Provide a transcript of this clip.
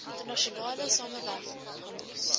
internasionale samewerking opgelos